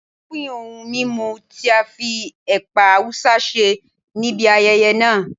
Wọ́n pin ohun mímu tí a fi ẹ̀pà Awúsá ṣe níbi ayẹyẹ náà.